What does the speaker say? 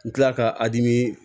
N kilala ka a dimi